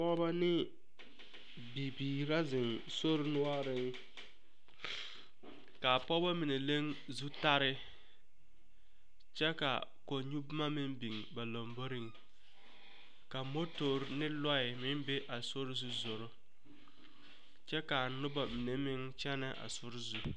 Pɔgebɔ ne bibiiri la ziŋ sori noɔriŋ kaa pɔgebɔ mine leŋ zutare kyɛ ka kɔŋ nyɔboma meŋ biŋ ba lamboriŋ ka motore ne lɔɛ meŋ be a sori zu zoro kyɛ kaa noba mine meŋ kyɛnɛ a sori zu.